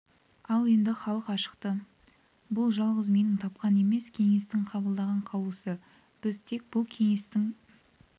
ал енді халық ашықты бұл жалғыз менің тапқан емес кеңестің қабылдаған қаулысы біз тек сол кеңестің